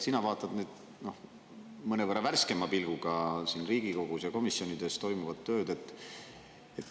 Sina vaatad mõnevõrra värskema pilguga siin Riigikogus ja komisjonides toimuvat tööd.